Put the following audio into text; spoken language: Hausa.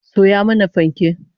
Soya mana fanke!